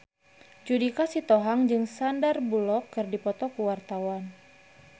Judika Sitohang jeung Sandar Bullock keur dipoto ku wartawan